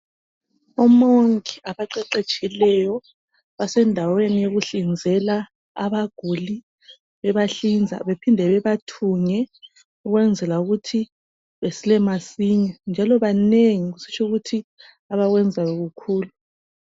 Omongi abaqeqetshileyo basendaweni yokuhlinzela abaguli, bebahlinza bephinde bebathunge ukwenzela ukuthi besile masinya. Njalo banengi kusitsho ukuthi abakwenzayo kukhulu.